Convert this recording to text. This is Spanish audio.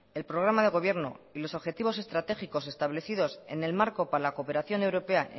el programa de gobierno y los objetivos estratégicos establecidos en el marco para la cooperación europea